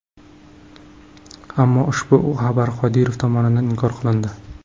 Ammo ushbu xabarlar Qodirov tomonidan inkor qilindi.